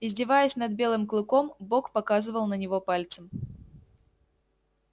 издеваясь над белым клыком бог показывал на него пальцем